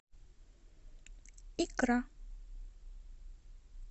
икра